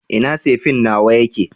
ina sefen nawa yake?